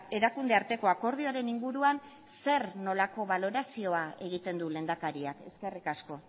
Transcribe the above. erakunde arteko akordioaren inguruan zer nolako balorazioa egiten du lehendakariak eskerrik asko